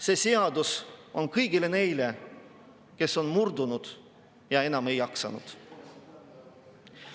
See seadus on ka kõigile neile, kes murdusid ja enam ei jaksanud.